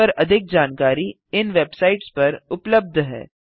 इस पर अधिक जानकारी इन वेबसाइट्स पर उबलब्ध है